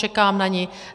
Čekám na ni.